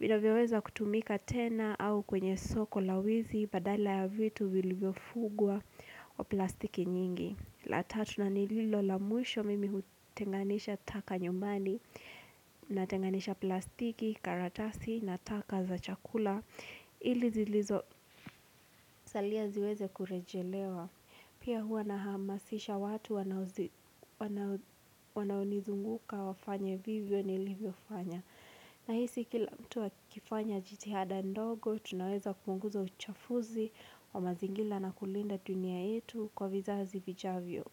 vinavyoweza kutumika tena au kwenye soko la wizi badala ya vitu viliviofugwa kwa plastiki nyingi la tatu na nililo la muisho mimi hutenganisha taka nyumbani, natenganisha plastiki, karatasi, nataka za chakula ilizilizo salia ziweze kurejelewa. Pia huwa nahamasisha watu wanaonizunguka wafanye vivyo nilivyofanya. Nahisi kila mtu akifanya jitihada ndogo tunaweza kupunguza uchafuzi wa mazingira na kulinda dunia yetu kwa vizazi vijavyo.